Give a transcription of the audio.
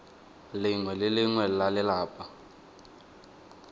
lengwe le lengwe la lelapa